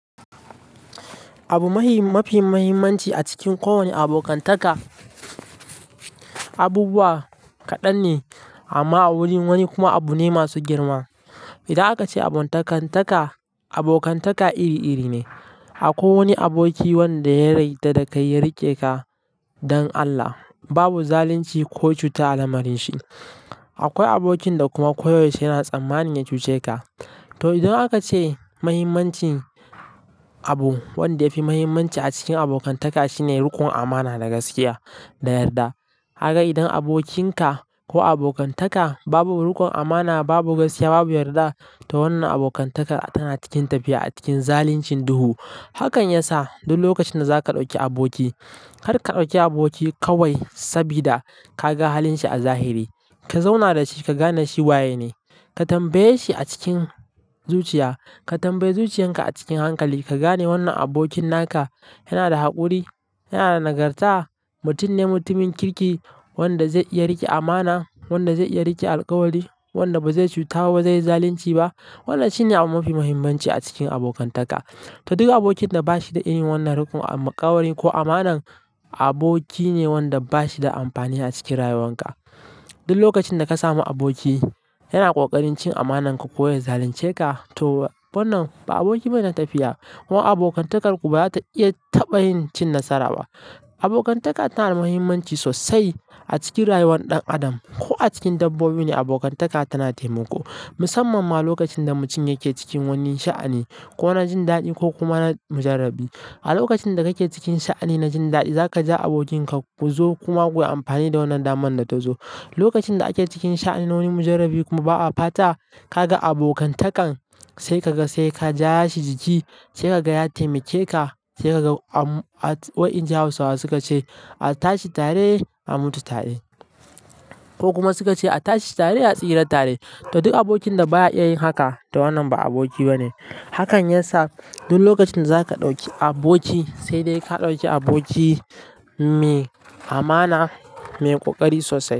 Abu mafi muhimmanci a cikin kowane abokantaka, abubuwa kaɗan ne amma a wurin wani kuma abu ne masu girma. Idan aka ce abokantaka iri-iri ne, akwai wani aboki wanda ya yadda da kai ya rike ka don Allah babu zalunci ko cuta a lamarinshi. Akwai abokin da kuma koyaushe yana tsammani ya cuce ka. To, idan aka ce mahimmancin abun wanda yafi muhimmanci a cikin abokantaka shine rikon amana da gaskiya da yarda. Idan abokin ka ko abokantaka babu rikon amana, babu gaskiya, babu yarda, to wannan abokantakar tana cikin tafiya a cikin zaluncin duhu. Hakan ya sa duk lokacin da zaka ɗauki aboki, har ka ɗauki aboki kawai sabida ka ga halin shi a zahiri. Ka zauna da shi ka gane shi waye ne. Ka tambaye shi a cikin zuciya. Ka tambayi zuciyan ka a cikin hankali. Ka gane wannan abokin naka yana da haƙuri, yana da nagarta, mutum ne mutumin kirki, wanda zai iya rike amana, wanda zai iya rike alkawari, wanda ba zai cuta wa, ba zai yi zalunci ba. Wannan shine abu mafi muhimmanci a cikin abokantaka. To, duk abokin da ba shi da irin wannan rukuni, alkawari ko amanar, aboki ne wanda ba shi da amfani a cikin rayuwan ka. Duk lokacin da ka samu aboki yana ƙoƙarin cin amanar ka ko yana zalunce ka, to wannan ba aboki bane na tafiya. Ko abokantakar ku ba za ta iya taɓa yin cin nasara ba. Abokantaka tana da muhimmanci sosai a cikin rayuwar ɗan adam. Ko a cikin dabbobi ne abokantaka tana taimako. Musamman ma lokacin da mutum yake cikin wani sha'ani ko na jin daɗi ko kuma na mujarrabi. A lokacin da kake cikin sha'ani na jin daɗi, za ka je abokin ka ku zo kuma ku yi amfani da wannan daman da ta zo. Lokacin da ake cikin sha'anoni mujarrabi kuma ba'a fata, ka ga abokantakan sai ka ga sai ka ja ya shi jiki, sai ka ga ya taimake ka, sai ka ga a wa'ayin Hausawa su ka ce, "A tashi tare, a mutu tare." Ko kuma su ka ce, "A tashi tare, a tsira tare." To, duk abokin da ba ya iya yin haka to wannan ba aboki bane. Hakan ya sa duk lokacin da zaka ɗauki aboki, sai dai ka ɗauki aboki mai amana, mai ƙoƙari sosai.